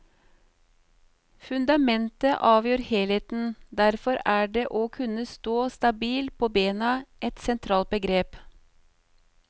Fundamentet avgjør helheten, derfor er det å kunne stå stabilt på bena et sentralt begrep.